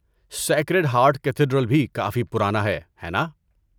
Sacred heart cathedral بھی کافی پرانا ہے، ہے نا؟